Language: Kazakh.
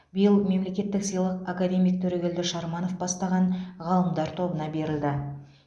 биыл мемлекеттік сыйлық академик төрегелді шарманов бастаған ғалымдар тобына берілді